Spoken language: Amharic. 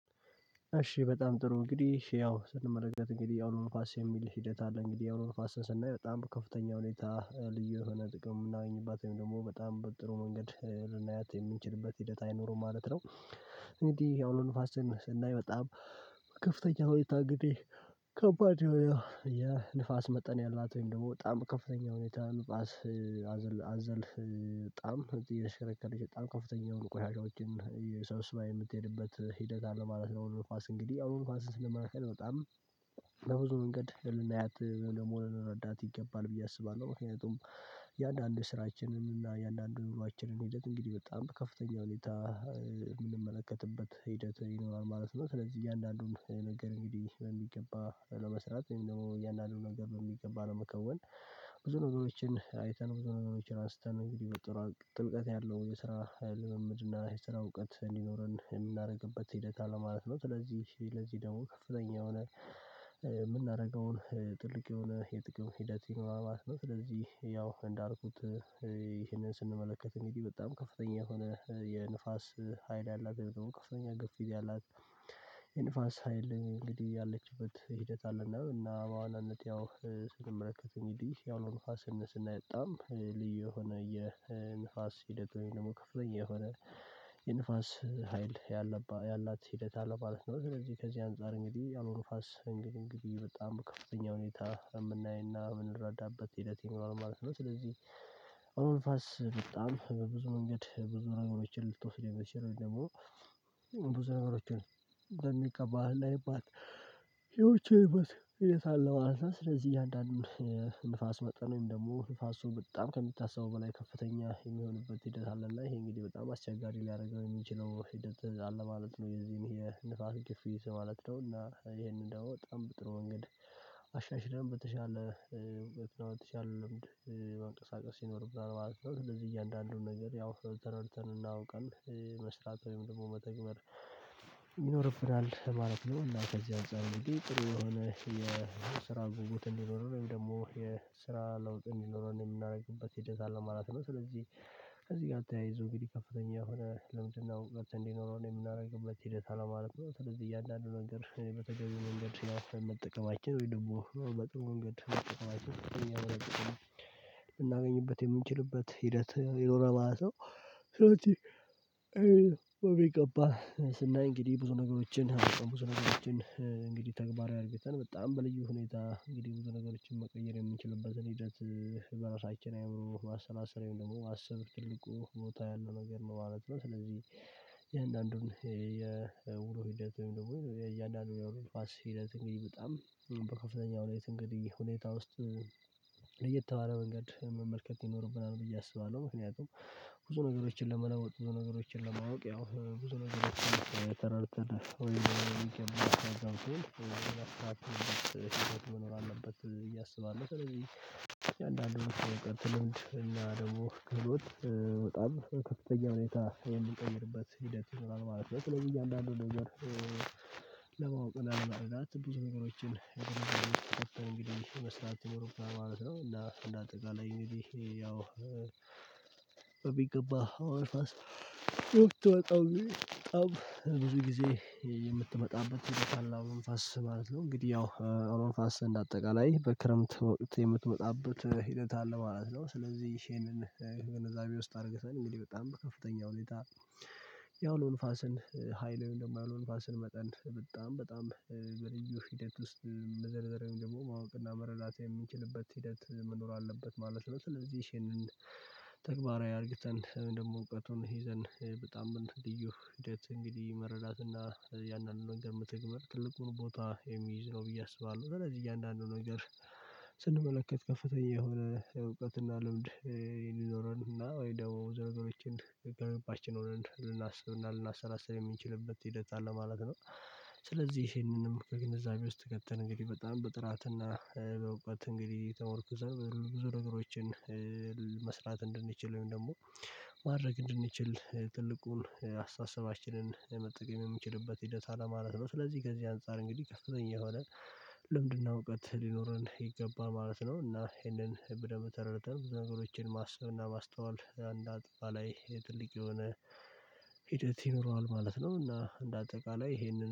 እሺ በጣም ጥሩ እንግዲህ ያው ስንመረጥ እንግዲህ ያው ነው ንፋስ የሚል ሂደት አለ እንግዲህ የሆነ መንፈስን ስናይ በጣም ከፍተኛ ሁኔታ ልዩ የሆነ ጥቅም የምናገኝባት ወይም ደግሞ በጣም በጥሩ መንገድ ልናያት የምንችልበት ሂደት አይኖርም ማለት ነው እንግዲህ ያው ዐሌ ንፋስን ስናይ በጣም ከፍተኛ ታግዴ ከባድ የሆነ የንፋስ መጠን ያላት ወይም ደግሞ በጣም ከፍተኛ ሁኔታ አዘልፍ የሽረከረች በጣም ከፍተኛ የሆኑ ቆሻሻዎችን ሰብስባ የምትሄድበት ሂደት አለ ማለት ነው። አሁን ኳስ እንግዲህ አሁን ኳስ ስንት ለመናገር በጣም በብዙ መንገድ ህልውና ያት ለመሆን ረዳት ይገባል ብዬ አስባለው ምክንያቱም የአንዳንድ ስራችንንም እና የአንዳንድ ኑሮአችንን ሂደት እንግዲህ በጣም ከፍተኛ ሁኔታ የምንመለከትበት ሂደት ይኖራል ማለት ነው። ስለዚህ እያንዳንዱን ነገር እንግዲህ በሚገባ ለመስራት ወይም ደግሞ የእያንዳንዱ ነገር ነው የሚገባ ለመከወን ብዙ ነገሮችን አይተን ብዙ ነገሮችን አንስተን እንግዲህ ጥልቀት ያለው የስራ ልምምድ እና የስራ እውቀት እንዲኖረን የምናደርግበት ሂደት አለ ማለት ነው። ስለዚህ ለዚህ ደግሞ ከፍተኛ የሆነ የምናደርገውን ጥልቅ የሆነ የጥቅም ሂደት ይኖራል ማለት ነው። ስለዚህ ያው እንዳልኩት ስንመለከት እንግድህ በጣም ከፍተኛ የሆነ የንፋስ ሀይል ያላት አሁን ከፍተኛ ግፊት ያላት የንፋስ ሀይል እንግዲህ ያለችበት ሂደት አለና እና በአዋናነት ያው ስንመለከት አንግድህ የአዉሎ ንፋስ ስነስናይ በጣም ልዩ የሆነ የንፋስ ሂደት ወይም ደግሞ ከፍተኛ የሆነ የንፋስ ሀይል ያላት ሂደት አለ ማለት ነው። ስለዚህ ከዚህ አንፃር እንግዲህ አዉሎ ንፋስ እንግዲህ በጣም ከፍተኛ ሁኔታ የምናይና የምንረዳበት ሂደት ይኖራል ማለት ነው። ስለዚህ እውሎ ንፋስ በጣም በብዙ መንገድ ብዙ ነገሮችን ልትወስደው ምትችል ወይም ደግሞ ብዙ ነገሮችን በሚገባ ልናይባት ህደቶች ያሉበት አለው ማለት ነው ስለዚህ እያንዳንዱን ንፋስ መጠን ደግሞ ንፋሱ በጣም ከምትታሰበው በላይ ከፍተኛ የሚሆንበት ሂደት አለ እና ይሄ እንግዲህ በጣም አስቸጋሪ ሊያደርገው የሚችለው ሂደት አለ ማለት ነው። የዚህን የንፋስ ክፍያ ማለት ነው እና ይሄንን ደግሞ በጣምም በጥሩ መንገድ አሻሽለን በተሻለ በተሻለ ሌምድ መንቀሳቀስ ይኖርብሃል ማለት ነው። ስለዚህ እያንዳንዱን ነገር ያው ተረድተን እናውቃለን መስራት ወይም ደግሞ መተግበር ይኖርብናል ማለት ነው። እና ከዚህ አንፃር አንግድህ ጥሩ የሆነ የስራ ጉጉት እንዲኖረው ወይም ደግሞ የስራ ለውጥ የሚኖረውን የምናደርግበት የጀመረ ማለት ነው። ስለዚህ ከዚህ ጋር ተያይዞ እንግዲህ ከፍተኛ ሆነ ለምንድነው መብት እንዲኖረን የምናደርግበት ሂደት አለ ማለት ነው። ስለዚህ እየአንዳንዱ መንገድ በተገቢ መንገድ ሲያፈርም መጠቀማችን ወይ ደግሞ መጠቀም መጠቀማችን የምናገኝበት የምንችልበት ሂደት የሆነ ማለት ነው። በሚገባ ስናይ እንግዲህ ብዙ ነገሮችን ብዙ ነገሮችን እንግዲህ ተግባራዊ አርግቸን በጣም በልዩ ሁኔታ እንግዲህ ብዙ ነገሮችን መቀየር የምንችልበትን ሂደት በራሳችን አይምሮ ማሰላሰል ወይም ደግሞ ማሰብ ትልቁ ቦታ ያለው ነገር ነው ማለት ነው። ስለዚህ የእያንዳንዱን የውሎ ሂደት ወይም ደግሞ የእያንዳንዱን አዉሎ ንፋስ ሂደት እንግዲህ በጣም በከፍተኛ ሁኔታ እንግዲህ ሁኔታ ውስጥ ለየት ባለ መንገድ መመልከት ይኖርብናል ብዬ አስባለዉ። ምክንያቱም ብዙ ነገሮችን ለመለወጥ ብዙ ነገሮችን ለማወቅ ያው ብዙ ነገር ስራ ተረድተህ ወይ ወይ የሚቀመጥ ነው የሚለው እኔ መኖር አለበት ብዬ አስባለው ስለዚህ አየአንዳንዱ ወር ቀጥሎ እና ደግሞ ክህሎት በከፍተኛ ሁኔታ እንዲቀይርበት ሂደት ይኖራል ማለት ነው። ስለዚህ እያንዳንዱን ነገር ለማወቅ እና ለመረዳት ብዙ ነገሮችን እንግዲህ መስራት ይኖረብታል ማለት ነው። አና አንደአጠቃላይ አንግዲህ ያው በሚገባ አዉሎ ንፋስ በጣም ብዙ ጊዜ የምትመጣበት በቃል አውሎ ንፋስ ማለት ነው። እንግዲህ ያው አውሎ ንፋስ እንደ አጠቃላይ በክረምት የምትመጣበት ሂደት አለ ማለት ነው። ስለዚህ ይሄንንን ገነዛቤ ውስጥ አርግተን እንግዲህ በጣም ከፍተኛ ሁኔታ አዉሎ ንፋስን ሀይልን ወይም ደግሞ አዉሎ ንፋስን መጠን በጣም በጣም በልዩ ሂደት ውስጥ ለዘርዘርም ደግሞ ማወቅና መረዳት የምንችልበት ሂደት መኖር አለበት ማለት ነው። ስለዚህ ይሄንን ተግባራዊ አርግተን ወይም ደግሞ እውቀቱን ይዘን በጣም በልዩ ሂደት አንግዲህ መረዳትና ያንን ነገር መተግበር ትልቁን ቦታ የሚይዝ ነው ብዬ አስባለው። ስለዚህ እያንዳንዱን ነገር ስንመለከት ከፍተኛ የሆነ እውቀትና ልምድ የሚዞኖረን አና ወይም ደግሞ ብዙ ነገሮችን ገንባችን ሆነን ልናስብ እና ልናሰላስል የምንችልበት ሂደት አለ ማለት ነው። ስለዚህ ይሄንንም በግንዛቤ ውስጥ ከተን በጣም በጥራትና በአውቀት እንግዲህ ተመርኩዘር ብዙ ነገሮችን መስራት እንድንችል ወይም ደግሞ ማድረግ እንድንችል ትልቁን አስተሳሰባችንን መጠቀም የምንችልበት ሂደት አለ ማለት ነው። ስለዚህ ከዚህ አንፃር እንግዲህ ከፍተኛ የሆነ ልምድና እውቀት ሊኖረን ይገባል ማለት ነው እና ይሄንን ብደንብ ተረድተን ብዙ ነገሮችን ማስብና ማስተዋል አንደ አጠቃላይ ትልቅ የሆነ ይኖረዋል ማለት ነው። እና እንደ አጠቃላይ ይሄንን